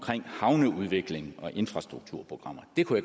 havneudvikling og infrastrukturprogrammer det kunne